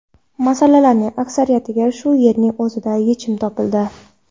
Masalalarning aksariyatiga shu yerning o‘zida yechim topildi.